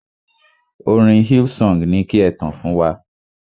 Orin Hillsong ni ki e tàn fún wa.